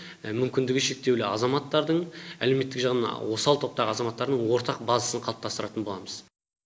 мүмкіндігі шектеулі азаматтардың әлеуметтік жағынан осал топтағы азаматтардың ортақ базасын қалыптастыратын боламыз